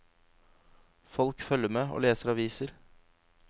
Folk følger med og leser aviser.